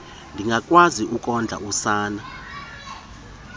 ndingakwazi ukondla usana